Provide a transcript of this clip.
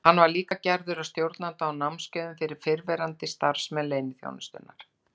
Hann var líka gerður að stjórnanda á námskeiðum fyrir verðandi starfsmenn leyniþjónustunnar.